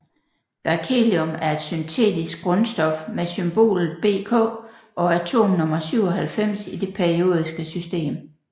Berkelium er et syntetisk grundstof med symbolet Bk og atomnummer 97 i det periodiske system